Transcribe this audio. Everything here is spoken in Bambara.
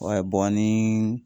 Wayi bɔn nii